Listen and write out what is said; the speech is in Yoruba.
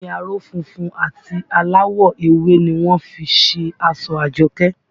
Omi aró funfun àti aláwọ̀ ewé ni wọ́n fi ṣe aṣọ Àjọkẹ́